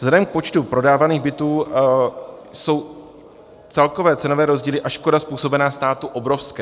Vzhledem k počtu prodávaných bytů jsou celkové cenové rozdíly a škoda způsobená státu obrovské.